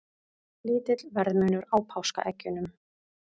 Lítill verðmunur á páskaeggjunum